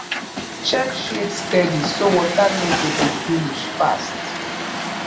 check shade steady so water no go dey finish fast